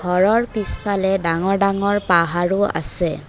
ঘৰৰ পিছফালে ডাঙৰ ডাঙৰ পাহাৰো আছে।